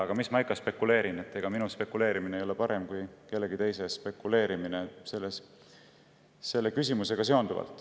Aga mis ma ikka spekuleerin, ega minu spekuleerimine selles küsimuses ei ole parem kui kellegi teise spekuleerimine.